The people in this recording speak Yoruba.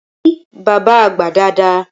Kí bábá àgbà dada!